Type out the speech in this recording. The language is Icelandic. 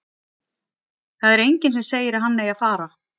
Það er enginn sem segir að hann eigi að fara.